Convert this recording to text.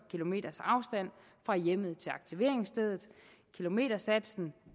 fra hjemmet til aktiveringsstedet kilometersatsen